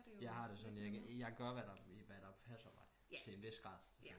Jeg har det jo sådan jeg gør hvad der passer mig til en vis grad